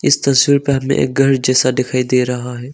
इस तस्वीर पर हमें एक गर जैसा दिखाई दे रहा है।